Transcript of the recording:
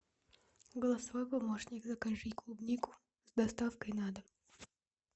голосовой помощник закажи клубнику с доставкой на дом